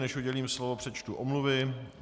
Než udělím slovo, přečtu omluvy.